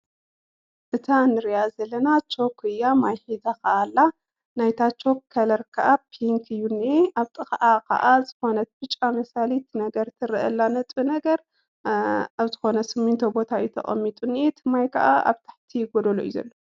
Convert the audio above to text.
እታ ንርእያ ዘለና ቾክያ ማይ ሒዛ ኸኣ ኣላ። ናይታ ቾክ ከለር ከኣ ፒንክ እዩ ኒሄ ኣብ ጥቓኣ ኸኣ ዝኾነት ብጫ ምሳሊት ነገር ትርአላ ነጥቢ ነገር ኣብ ዝኾነ ስሚንቶ ቦታ እዩ ተቐሚጡ ኒአ እቲ ማይ ከኣ ኣብ ታሕቲ ጐደሎ እዩ ዘሎ።